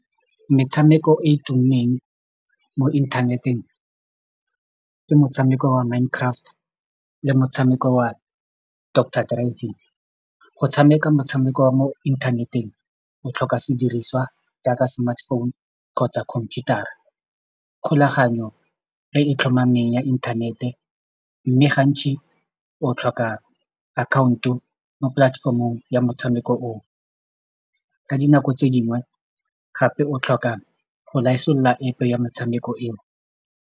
Metshameko e tumileng mo inthaneteng ke motshameko wa Mind Craft le motshameko wa Doctor Driving go tshameka motshameko wa mo inthaneteng o tlhoka sediriswa jaaka smartphone kgotsa computer-ra kgolaganyo e e tlhomameng ya inthanete mme gantsi o tlhoka account-o mo platform-ong ya motshameko o o ka dinako tse dingwe gape o tlhoka go App ya metshameko eo.